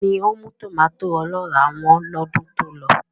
Kíni ó mú tòmàtó ọlọ́ràá wọ́n lọ́dún tí ó lọ?